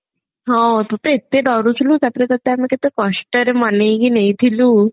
ହଁ ତୁତ ଏତେ ଡରୁଥିଲୁ ତାପରେ ତତେ ଆମେ କେତେ କଷ୍ଟରେ ମନେଇକି ନେଇଥିଲୁ